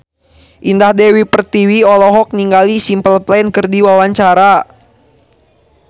Indah Dewi Pertiwi olohok ningali Simple Plan keur diwawancara